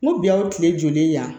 N ko bi a ye kile joli yan